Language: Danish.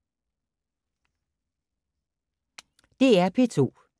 DR P2